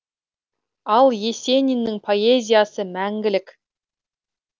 ал есениннің поэзиясы мәңгілік